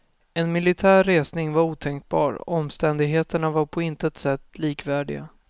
En militär resning var otänkbar, omständigheterna var på intet sätt likvärdiga.